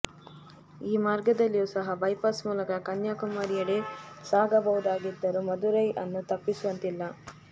ಈ ಮಾರ್ಗದಲ್ಲಿಯೂ ಸಹ ಬೈಪಾಸ್ ಮೂಲಕ ಕನ್ಯಾಕುಮಾರಿಯೆಡೆ ಸಾಗಬಹುದಾಗಿದ್ದರೂ ಮದುರೈ ಅನ್ನು ತಪ್ಪಿಸುವಂತಿಲ್ಲ